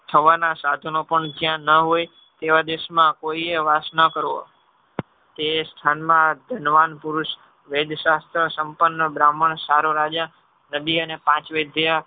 થવાના સાધનો પણ જ્યાં ન હોય તેવા દેશમાં કોઈએ વાસ ન કરવો તે સ્થાનમાં ધનવાન પુરુષ વૈદશાસ્ત્ર સંપન્ન બ્રાહ્મણ સારો રાજા નદી અને પાંચ વૈદ જેવા